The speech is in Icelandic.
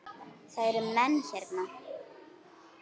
Það eru menn hérna!